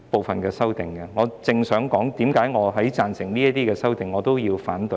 主席，我正想解釋為何我贊成這些修訂，同時也要反對。